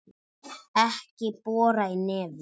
Ekki bora í nefið!